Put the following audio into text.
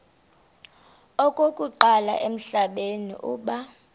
okokuqala emhlabeni uba